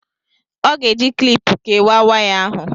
ọ ga-eji kịlịpù kewàà waya ahụ